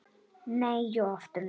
Nei og aftur nei.